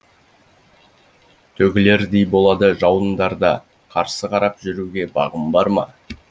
төгілердей болады жауындарда қарсы қарап жүруге бағым барма